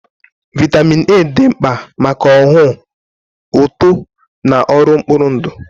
Vitamin A dị mkpa maka ọhụụ, uto, na ọrụ mkpụrụ ndụ.